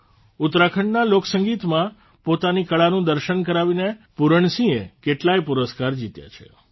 ઉત્તરાખંડના લોકસંગીતમાં પોતાની કળાનું દર્શન કરાવીને પુરણસિંહે કેટલાય પુરસ્કાર જીત્યા છે